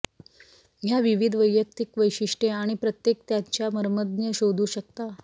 या विविध वैयक्तिक वैशिष्ट्ये आणि प्रत्येक त्याच्या मर्मज्ञ शोधू शकता